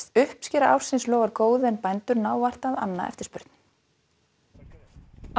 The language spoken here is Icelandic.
uppskera ársins lofar góðu en bændur ná vart að anna eftirspurn á